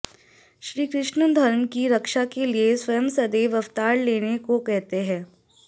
श्रीकृष्ण धर्म की रक्षा के लिए स्वयं सदैव अवतार लेने को कहते हैं